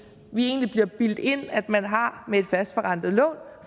bliver bildt ind at man har med et fastforrentet lån